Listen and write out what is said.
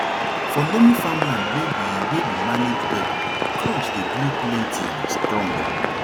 for loamy farmland wey we wey we manage well crops dey grow plenty and strong